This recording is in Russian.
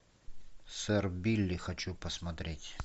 сэр билли хочу посмотреть